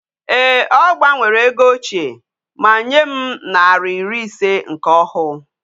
Eeh! O gbanwere ego ochie, ma nyem nari iri ise nke ohu